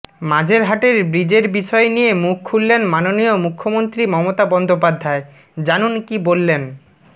মাঝেরহাটের ব্রিজের বিষয় নিয়ে মুখ খুললেন মাননীয় মুখ্যমন্ত্রী মমতা বন্দ্যোপাধ্যায় জানুন কী বললেন